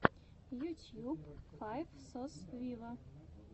ютьюб файв сос виво